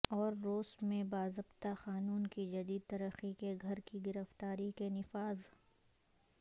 اور روس میں باضابطہ قانون کی جدید ترقی کے گھر کی گرفتاری کے نفاذ